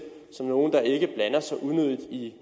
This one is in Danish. som nogle der ikke blander sig unødigt i